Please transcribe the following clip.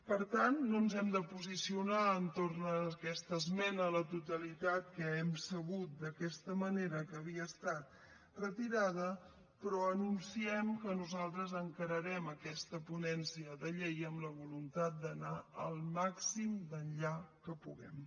per tant no ens hem de posicionar entorn a aquesta esmena a la totalitat que hem sabut d’aquesta manera que havia estat retirada però anunciem que nosaltres encararem aquesta ponència de llei amb la voluntat d’anar el màxim d’enllà que puguem